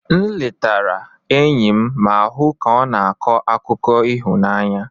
M letara enyi m ma hụ ka ọ na-akọ akụkọ ịhụnanya.